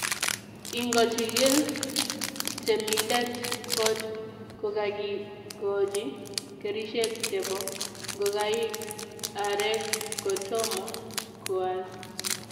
Ingochigil temindet kot kokagigochi kerichek chebo ngokaik arek kotomo koal.